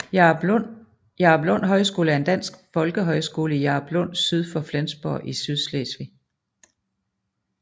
Jaruplund Højskole er en dansk folkehøjskole i Jaruplund syd for Flensborg i Sydslesvig